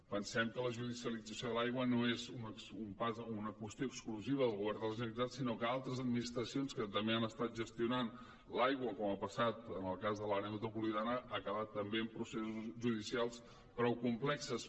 pensem que la judicialització de l’aigua no és una qüestió exclusiva del govern de la generalitat sinó que altres administracions que també han estat gestionant l’aigua com ha passat en el cas de l’àrea metropolitana ha acabat també amb processos judicials prou complexos